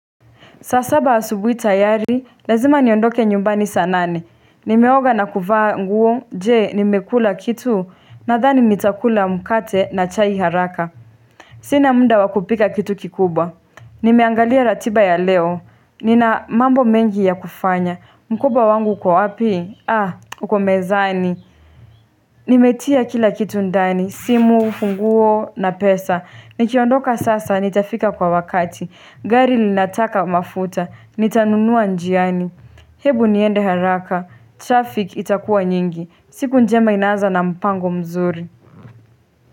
Saa saba asubuhi tayari, lazima niondoke nyumbani saa nane. Nimeoga na kuvaa nguo, je, nimekula kitu, nadhani nitakula mkate na chai haraka. Sina muda wa kupika kitu kikubwa. Nimeangalia ratiba ya leo. Nina mambo mengi ya kufanya. Mkoba wangu uko wapi? Uko mezani. Nimetia kila kitu ndani, simu, funguo, na pesa. Nikiondoka sasa, nitafika kwa wakati. Gari linataka mafuta. Nitanunua njiani Hebu niende haraka Traffic itakuwa nyingi siku njema inaanza na mpango mzuri.